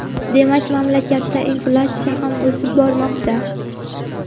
demak mamlakatda inflyatsiya ham o‘sib bormoqda.